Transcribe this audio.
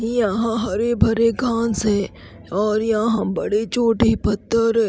यहां हरे भरे घास है और यहां बड़े छोटे पत्थर है।